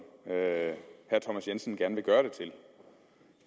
herre thomas jensen gerne vil gøre det til